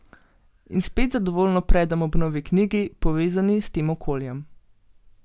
In spet zadovoljno predem ob novi knjigi, povezani s tem okoljem!